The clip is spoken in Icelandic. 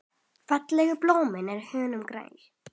Fallegt blóm í honum grær.